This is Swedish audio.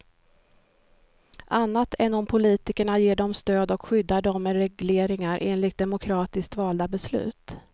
Annat än om politikerna ger dem stöd och skyddar dem med regleringar, enligt demokratiskt valda beslut.